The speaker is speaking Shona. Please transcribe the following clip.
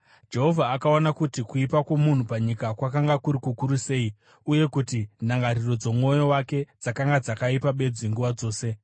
Jehovha akaona kuti kuipa kwomunhu panyika kwakanga kuri kukuru sei, uye kuti ndangariro dzomwoyo wake dzakanga dzakaipa bedzi nguva dzose.